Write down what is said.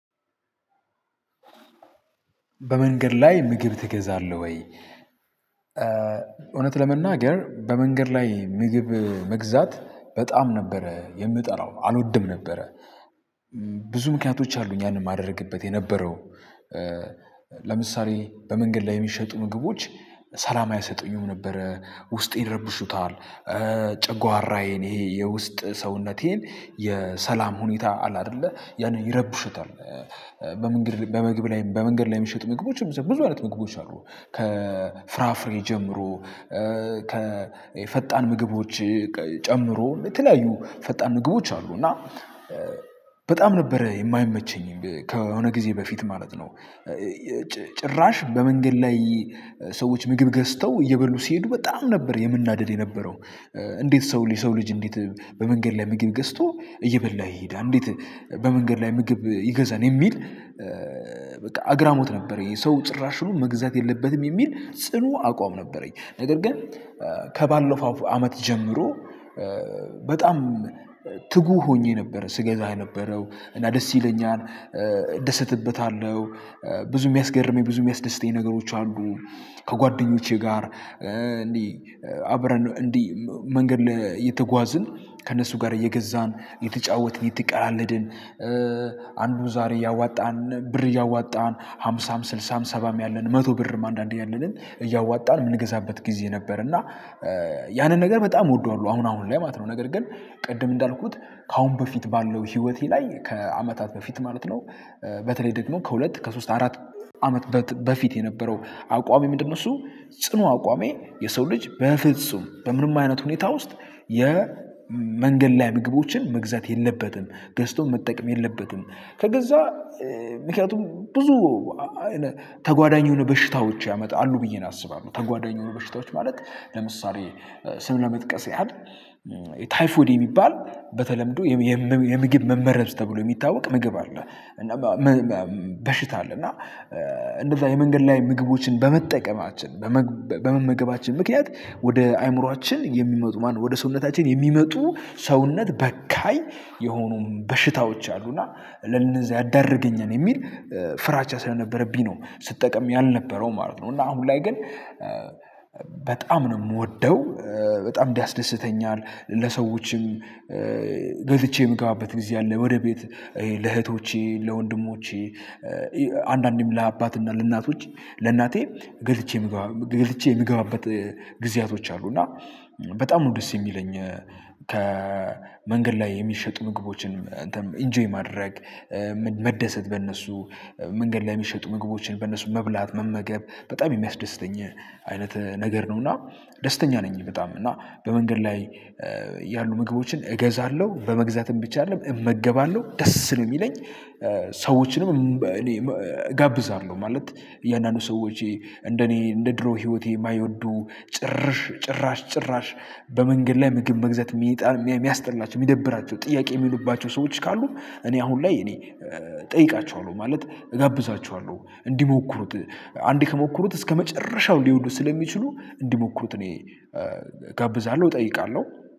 በመንገድ ላይ ምግብ ትገዛለህ ወይ? እውነት ለመናገር በመንገድ ላይ ምግብ መግዛት በጣም ነበረ የምጠላው አልወድም ነበረ። ብዙ ምክንያቶች አሉኝ ያንን ማደረግበት የነበረው። ለምሳሌ በመንገድ ላይ የሚሸጡ ምግቦች ሰላም አይሰጡኝም ነበር። ብዙ ምክንያቶች አሉኝ ያንን ማደረግበት የነበረው። በመንገድ ላይ በመንገድ ላይ የሚሸጡ ምግቦችም ብዙ አይነት ምግቦች አሉ ከፍራፍሬ ጀምሮ ከ ከፈጣን ምግቦች ጨምሮ የተለያዩ ፈጣን ምግቦች አሉ። እና ነበረ የማይመቸኝ ከሆነ ጊዜ በፊት ማለት ነው። ጭራሽ በመንገድ ላይ ሰዎች ምግብ ገዝተው እየበሉ ሲሄዱ በጣም ነበር የምናደድ የነበረው። እንዴት ሰው ልጅ እንዴት በመንገድ ላይ ምግብ ገዝቶ እየበላ ይሄዳል? እንዴት በመንገድ ላይ ምግብ ይገዛል የሚል። በቃ አግራሞት ነበረኝ የሰው ጭራሽ ሽሉ መግዛት የለበትም የሚል ጽኑ አቋም ነበረኝ። ነገር ግን። ከባለፈው አመት ጀምሮ በጣም ትጉ ሆኜ ነበር ስገዛ የነበረው እና ደስ ይለኛል። ደስተበታለሁ ብዙ የሚያስገርመኝ ብዙ የሚያስደስተኝ ነገሮች አሉ። ከጓደኞቼ ጋር እንዲህ አብረን እንዲህ መንገድ እየተጓዝን ከእነሱ ጋር እየገዛን እየተጫወትን እየተቀላለድን። አንዱ ዛሬ ያዋጣል ብር እያዋጣን ሃምሳም ስልሳም ሰባም ያለን መቶ ብርም አንዳንዴ ያለንን እያዋጣን የምንገዛበት ጊዜ ነበር። እና ያንን ነገር በጣም እወደዋለሁ። አሁን አሁን ላይ ማለት ነው። ነገር ግን ቅድም እንዳልኩት ከአሁን በፊት ያለው ህዎቴ ላይ ከአመታት በፊት ማለት ነው። በተለይ ደግሞ ከሁለት ከሶስት አራት አመት በፊት የነበረው አቋሜ ምንድነው? እሱ ጽኑ አቋሜ የሰው ልጅ በፍጹም በምንም አይነት ሁኔታ ውስጥ የመንገድ ላይ ምግቦችን መግዛት የለበትም ገዝቶም መጠቀም የለበትም። ከገዛ ምክንያቱም ብዙ ተጓዳኝ የሆነ በሽታዎች ያመጣሉ ብዬ አስባለሁ። ተጓዳኝ የሆነ በሽታዎች ማለት ለምሳሌ ስም ለመጥቀስ ያህል ታይፎድ የሚባል በተለምዶ የምግብ መመረዝ ተብሎ የሚታወቅ ምግብ አለ። በሽታ አለ። እና እንደዛ የመንገድ ላይ ምግቦችን በመጠቀማችን በመመገባችን ምክንያት ወደ አእምሮአችን የሚመጡ ማነው ወደ ሰውነታችን የሚመጡ ሰውነት በካኝ የሆኑ በሽታዎች አሉና ለነዛ ያደርገኛል የሚል ፍራቻ ስለነበረብኝ ነው ስጠቀም ያልነበረው ማለት ነው። አሁን ላይ ግን በጣም ነው የምወደው። በጣም ያስደስተኛል ለሰዎችም ገዝቼ የምገባበት ጊዜ አለ። ወደ ቤት ለእህቶቼ ለወንድሞቼ አንዳንዴም ለአባትና ለእናቶች ለእናቴ ገዝቼ ምገባ ገዝቼ የምገባበት ጊዜያቶች አሉ። እና በጣም ነው ደስ የሚለኝ። ከመንገድ ላይ የሚሸጡ ምግቦችን ኢንጆይ ማድረግ መደሰት በእነሱ መንገድ ላይ የሚሸጡ ምግቦችን በነሱ መብላት መመገብ በጣም የሚያስደስተኝ አይነት ነገር ነው። እና ደስተኛ ነኝ። በጣም እና በመንገድ ላይ ያሉ ምግቦችን እገዛለሁ በመግዛትም ብቻ አይደለም እመገባለሁ ደስ ነው የሚለኝ። ሰዎችንም እኔ እጋብዛለሁ ማለት እያንዳንዱ ሰዎች እንደኔ እንደ ድሮ ህይወቴ የማይወዱ ጭራሽ ጭራሽ ጭራሽ በመንገድ ላይ ምግብ መግዛት የሚያስጠላቸው የሚደብራቸው ጥያቄ የሚሉባቸው ሰዎች ካሉ እኔ አሁን ላይ እኔ እጠይቃችኋለሁ ማለት እጋብዛችኋለሁ እንዲሞክሩት። አንዴ ከሞከሩት እስከመጨረሻው ሊወዱት ስለሚችሉ እንዲሞክሩት እኔ ጋብዛለሁ እጠይቃለሁ።